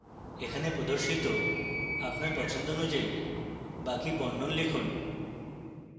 এখানে প্রদর্শিত আপনার পছন্দ অনুযায়ী বাকি বর্ণন লিখুন